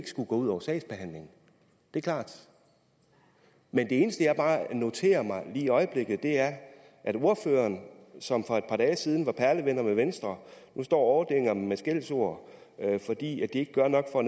skulle gå ud over sagsbehandlingen det er klart men det eneste jeg bare noterer mig lige i øjeblikket er at ordføreren som for et par dage siden var perlevenner med venstre nu står og overdænger dem med skældsord fordi de ikke gør nok for